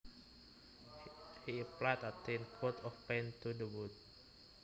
He applied a thin coat of paint to the wood